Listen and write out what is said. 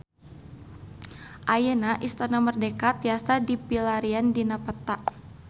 Ayeuna Istana Merdeka tiasa dipilarian dina peta